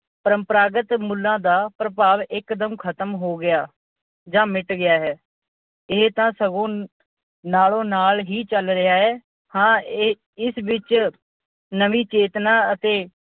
ਪਰੰਪਰਾਗਤ ਮੁੱਲਾਂ ਦਾ ਪ੍ਰਭਾਵ ਇੱਕੋ ਦਮ ਖਤਮ ਹੋ ਗਿਆ ਜਾਂ ਮਿਟ ਗਿਆ ਹੈ। ਇਹ ਤਾਂ ਸਗੋਂ ਨਾਲੋ-ਨਾਲ ਹੀ ਚਲ ਰਿਹਾ ਹੈ। ਹਾਂ ਇਹ ਅਹ ਇਸ ਵਿੱਚ ਨਵੀਂ ਚੇਤਨਾ ਅਤੇ